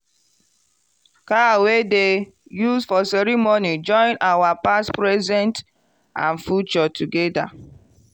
cow wey dem use for ceremony join our past present and future together.